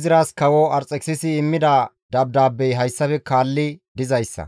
Izras kawo Arxekisisi immida dabdaabbey hayssafe kaalli dizayssa;